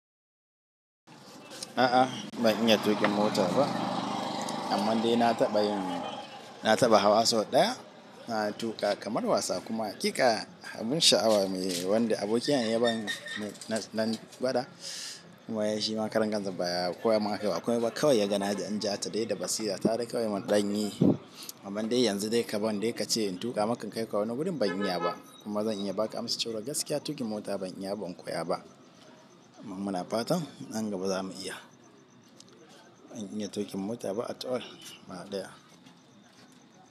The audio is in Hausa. A'a ban iya tuƙin mota ba, amma dai na taɓa yin, na taɓa hawa sau ɗaya, na tuƙa kamar wasa kuma ƙiƙa abun sha'awa ne wanda abokina ya bani nan nagwada kuma shima karankansa ba koya man akai ba, ba komai ba, kawai ya ga na jan ja ta dai da basira kawai mun ɗanyi. Amman dai yanzu dai ka ban dai kace in tuƙa maks in kai ka wani wurin ba in iya ba, kuma zan iya ba ka amsar cewa gaskiya tuƙin mota ban iya ba, ban koya ba. Amma muna fatan nan gaba za mu iya. Ban iya tuƙin mota ba at all gaba ɗaya.